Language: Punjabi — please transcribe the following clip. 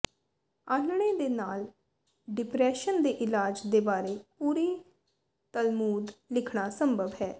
ਆਲ੍ਹਣੇ ਦੇ ਨਾਲ ਡਿਪਰੈਸ਼ਨ ਦੇ ਇਲਾਜ ਦੇ ਬਾਰੇ ਪੂਰੀ ਤਲਮੂਦ ਲਿਖਣਾ ਸੰਭਵ ਹੈ